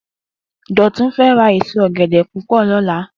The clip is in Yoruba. Dotun fè rá ésó ògèdè púpò lòlá